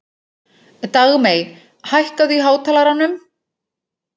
Dagmey, hækkaðu í hátalaranum.